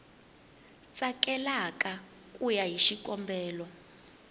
tsakelaka ku ya hi xikombelo